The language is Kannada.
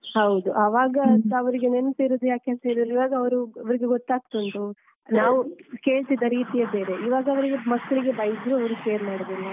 ಹೌದು ಆವಾಗದವರಿಗೆ ನೆನ್ಪಿರುದು ಯಾಕೆಂತ ಹೇಳಿದ್ರೆ ಇವಾಗ ಅವರು ಅವರಿಗೆ ಗೊತ್ತಾಗ್ತ ಉಂಟು ನಾವು ಕೇಳ್ತಿದ್ದ ರೀತಿಯೆ ಬೇರೆ. ಈವಾಗ ಅವರಿಗೆ ಮಕ್ಲಿಗೆ ಬೈದ್ರು ಅವರು care ಮಾಡುದಿಲ್ಲ.